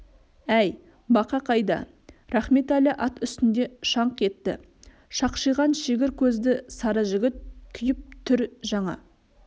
әй бақа қайда рахметәлі ат үстінде шаңқ етті шақшиған шегір көзді сары жігіт күйіп түр жаңа